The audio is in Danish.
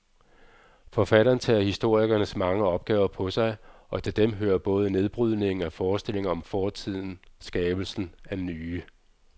Forfatteren tager historikerens mange opgaver på sig, og til dem hører både nedbrydningen af forestillinger om fortiden skabelsen af nye.